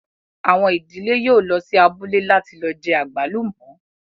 Àwọn ìdílé yóò lọ sí abúlé láti lọ jẹ àgbálùmọ́